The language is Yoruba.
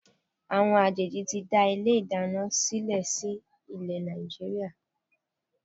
Àwọn àjèjì ti ń dá ilé ìdáná sílè sí ilé Nàìjíríà.